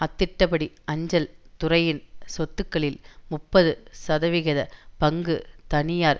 அத்திட்டப்படி அஞ்சல் துறையின் சொத்துக்களில் முப்பது சதவிகித பங்கு தனியார்